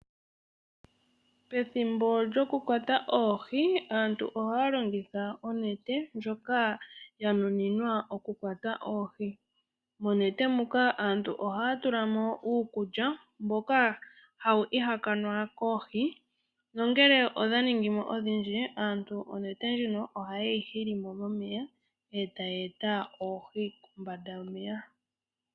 Pethimbo lyoku kwata oohi aantu oha longitha oonete dhoka dha nuninwa oku kwata oohi. Monete muka aantu oha ya tula mo uukulya mboka hawu ihakanwa koohi. Nongele odha ningimo odhindji aantu onetee ndjino ohayi hili mo. Etaya eta oohi kombanda yomeya.